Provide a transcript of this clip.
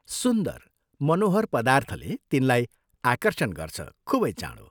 सुन्दर मनोहर पदार्थले तिनलाई आकर्षण गर्छ खूबै चाँड़ो